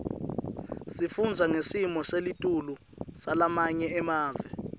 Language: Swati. sifundza ngesimo selitulu salamanye emave